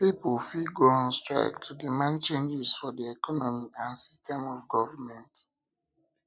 pipo fit go on strike to demand changes for di economy and system of government